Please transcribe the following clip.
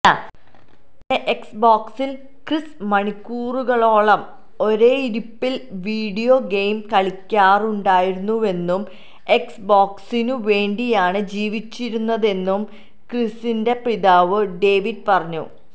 തന്റെ എക്സ്ബോക്സില് ക്രിസ് മണിക്കൂറുകളോളം ഒരേയിരുപ്പില് വീഡിയോ ഗെയിം കളിക്കാറുണ്ടായിരുന്നുവെന്നും എക്സ്ബോക്സിനു വേണ്ടിയാണ് ജീവിച്ചിരുന്നതെന്നും ക്രിസിന്റെ പിതാവ് ഡേവിഡ് പറഞ്ഞു